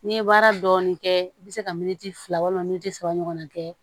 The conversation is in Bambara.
N'i ye baara dɔɔni kɛ i bɛ se ka militi fila walima moti saba ɲɔgɔn na kɛ